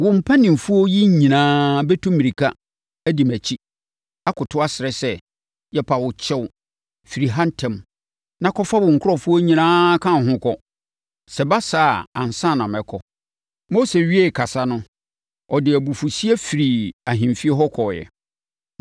Wo mpanimfoɔ yi nyinaa bɛtu mmirika, adi mʼakyiri, akoto asrɛ sɛ, ‘Yɛpa wo kyɛw, firi ha ntɛm na kɔfa wo nkurɔfoɔ nyinaa ka wo ho kɔ.’ Sɛ ɛba saa a ansa na mɛkɔ!” Mose wiee kasa no, ɔde abufuhyeɛ firii ahemfie hɔ kɔeɛ.